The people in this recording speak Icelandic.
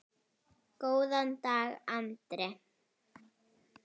Góðan dag, Andri!